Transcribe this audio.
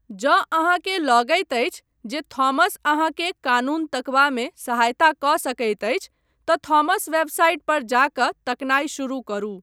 जँ अहाँकेँ लगैत अछि जे थॉमस अहाँकेँ कानून तकबामे सहायता कऽ सकैत अछि तँ थॉमस वेबसाइट पर जा कऽ तकनाइ शुरू करू।